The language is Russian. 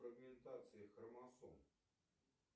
фрагментации хромосом